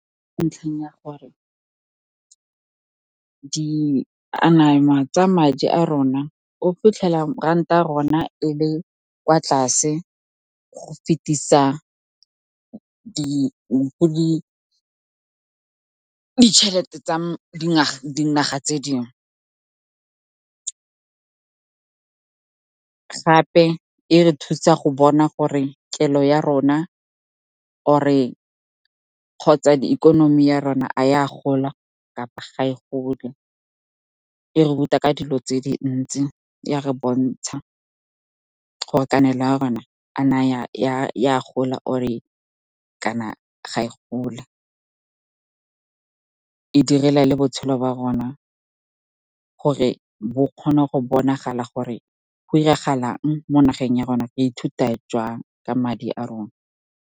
Ntlheng ya gore di tsa madi a rona, o fitlhela ranta ya rona e le kwa tlase go fetisa ditšhelete tsa dinaga tse dingwe. Gape e re thusa go bona gore kelo ya rona kgotsa ikonomi ya rona, a e a gola kapa ga e gole. E ruta ka dilo tse dintsi, ya re bontsha gore kanelo ya rona a na ya gola kana ga e gole, direla le botshelo ba rona gore bo kgone go bonagala gore go diragalang mo nageng ya rona. Re ithuta jang ka madi a rona.